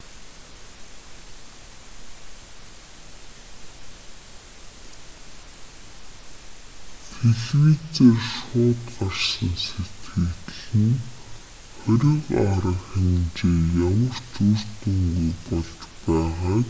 телевизээр шууд гарсан сэтгэгдэл нь хориг арга хэмжээ ямар ч үр дүнгүй болж байгааг